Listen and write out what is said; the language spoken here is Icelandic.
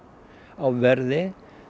á verði